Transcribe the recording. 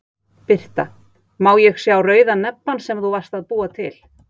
Birta: Má ég sá rauða nebbann sem þú varst að búa til?